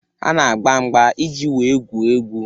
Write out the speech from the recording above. Ha na-agba mgba iji wee gwuo egwu.